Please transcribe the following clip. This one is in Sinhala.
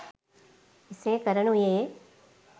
එසේ කරනුයේ